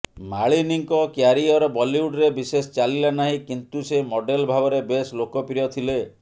ମାଳିନୀଙ୍କ career ବଲିଉଡରେ ବିଶେଷ ଚାଲିଲା ନାହିଁ କିନ୍ତୁ ସେ ମଡେଲ୍ ଭାବରେ ବେଶ୍ ଲୋକପ୍ରିୟ ଥିଲେ